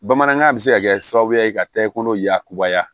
Bamanankan bɛ se ka kɛ sababuya ye ka tɛgɛ kolo yakubaya